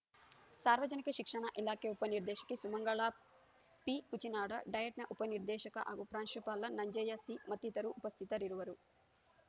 ಸಾರ್ವಜನಿಕ ಶಿಕ್ಷಣ ಇಲಾಖೆ ಉಪನಿರ್ದೇಶಕಿ ಸುಮಂಗಳಾ ಪಿ ಕುಚಿನಾಡ ಡಯಟ್‌ನ ಉಪನಿರ್ದೇಶಕ ಹಾಗೂ ಪ್ರಾಂಶುಪಾಲ ನಂಜಯ್ಯ ಸಿ ಮತ್ತಿತರರು ಉಪಸ್ಥಿತರಿರುವರು